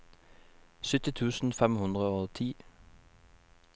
sytti tusen fem hundre og ti